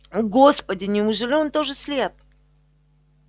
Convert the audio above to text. господи неужели он тоже слеп